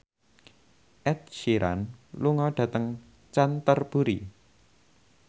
Ed Sheeran lunga dhateng Canterbury